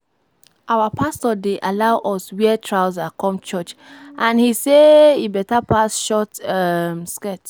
Our pastor dey allow us wear trouser come church and he say e better pass short um skirt